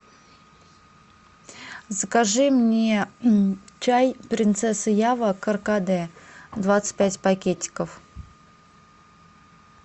закажи мне чай принцесса ява каркаде двадцать пять пакетиков